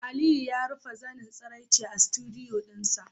Aliyu ya rufe zanen tsiraicin a studdioo dinsa